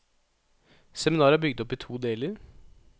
Seminaret er bygd opp i to deler.